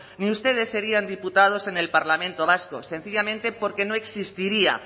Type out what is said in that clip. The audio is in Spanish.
ni ustedes serían diputados en el parlamento vasco sencillamente porque no existiría